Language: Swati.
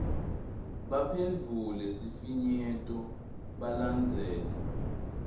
baphendvule sifinyeto balandzele